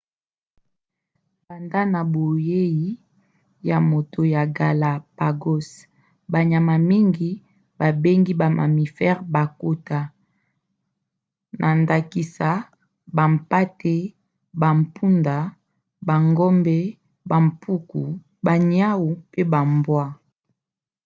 banda na boyei ya moto ya galapagos banyama mingi babengi ba mammifères bakota na ndakisa bampate bampunda bangombe bampuku baniau mpe bambwa